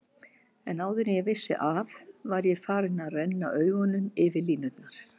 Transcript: En áður en ég vissi af var ég farinn að renna augunum yfir línurnar.